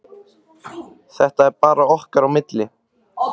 Þetta er bara okkar á milli.